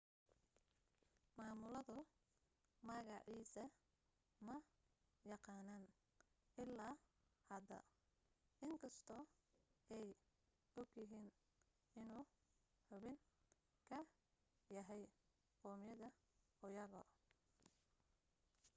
maamuladu magaciisa ma yaqaaniin ilaa hadda in kastoo ay og yihiin inuu xubin ka yahay qawmiyadda uighur